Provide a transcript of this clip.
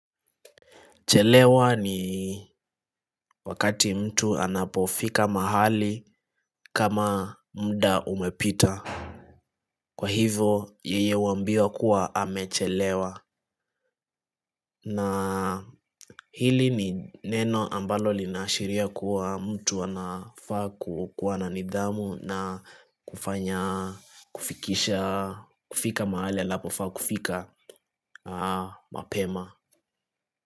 Chelewa ni wakati mtu anapofika mahali kama mda umepita. Kwa hivo yeye huambiwa kuwa amechelewa. Na hili ni neno ambalo linaashiria kuwa mtu anafaa kuwa na nidhamu na kufanya kufikisha kufika mahali anapofaa kufika mapema.